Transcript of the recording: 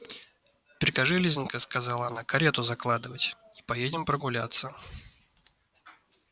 прикажи лизанька сказала она карету закладывать и поедем прогуляться